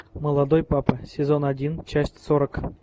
молодой папа сезон один часть сорок